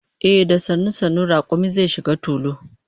Ehh, da sannu sannu rakumi zai shiga tulu